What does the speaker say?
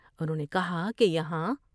انہوں نے کہا کہ یہاں